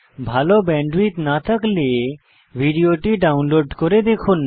ভাল ব্যান্ডউইডথ না থাকলে ভিডিওটি ডাউনলোড করে দেখুন